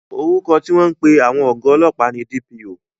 Orúkọ tí wọ́n ń pè àwọn ọ̀gá ọlọ́pàá ni DPO